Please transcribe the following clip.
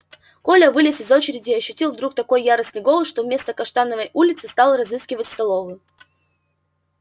коля вылез из очереди и ощутил вдруг такой яростный голод что вместо каштановой улицы стал разыскивать столовую